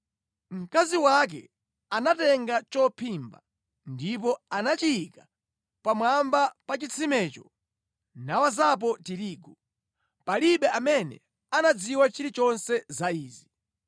Mkazi wake anatenga chophimba ndipo anachiyika pamwamba pa chitsimecho nawazapo tirigu. Palibe amene anadziwa chilichonse za izi.